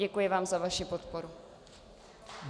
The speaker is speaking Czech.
Děkuji vám za vaši podporu.